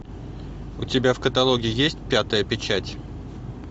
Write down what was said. у тебя в каталоге есть пятая печать